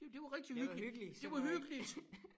Det det var rigtig hyggeligt det var hyggeligt